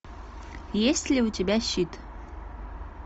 есть ли у тебя щит